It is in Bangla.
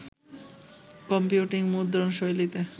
কম্পিউটিং মুদ্রণশৈলীতে